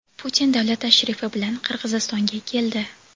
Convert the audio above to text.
Putin davlat tashrifi bilan Qirg‘izistonga keldi.